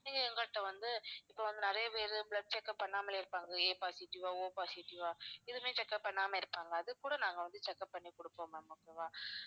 நீங்க எங்கள்ட்ட வந்து இப்ப வந்து நிறைய பேரு blood check up பண்ணாமலே இருப்பாங்க A positive ஆ O positive ஆ இதுவுமே check up பண்ணாம இருப்பாங்க அதுக்கு கூட நாங்க வந்து check up பண்ணி கொடுப்போம் ma'am okay வா